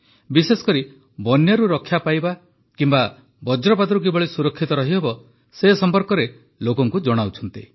ବିଶେଷକରି ବନ୍ୟାରୁ ରକ୍ଷା ପାଇବା କିମ୍ବା ବଜ୍ରପାତରୁ କିଭଳି ସୁରକ୍ଷିତ ରହିହେବ ସେ ସମ୍ପର୍କରେ ଲୋକଙ୍କୁ ଜଣାଉଛନ୍ତି